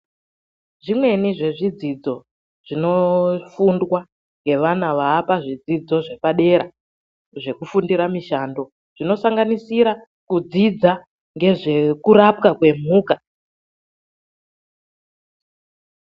Zvimweni zvezvidzidzo zvinofundwa ngevana vaapa zvidzidzo zvepadera zvekufundira mishando, zvinosanganisira kudzidza ngezvekurapwa kwemhuka.